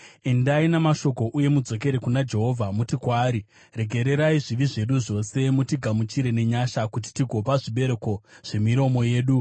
Endai namashoko uye mudzokere kuna Jehovha. Muti kwaari: “Regererai zvivi zvedu zvose mutigamuchire nenyasha, kuti tigopa zvibereko zvemiromo yedu.